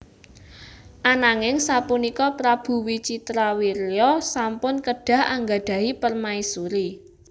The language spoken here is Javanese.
Ananing sapunika Prabu Wicitrawirya sampun kedah anggadhahi permaisuri